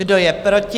Kdo je proti?